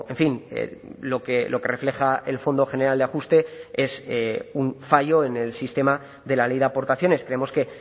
fin lo que refleja el fondo general de ajuste es un fallo en el sistema de la ley de aportaciones creemos que